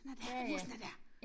Den er dér. Musen er dér